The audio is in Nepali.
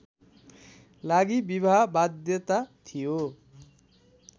लागि विवाह बाध्यता थियो